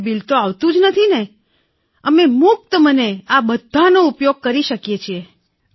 bill આવતું જ નથી તો અમે મુક્ત મને બધાનો ઉપયોગ કરી શકીએ છીએ ને